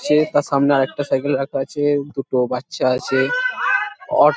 চে তার সামনে আর একটা সাইকেল রাখা আছে দুটো বাচ্চা আছে অ--